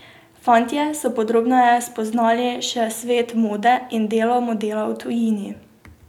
Fantje so podrobneje spoznali še svet mode in delo modela v tujini.